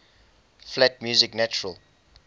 flat music natural